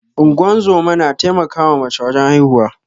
Ingozuma na taimaka ma mace wajen haihuwa